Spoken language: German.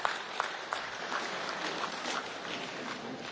Ich weiß zwar nicht, was das mit der Tagesordnung zu tun hatte.